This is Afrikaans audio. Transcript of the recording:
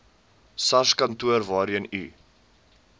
sarskantoor waarheen u